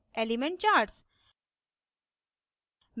element charts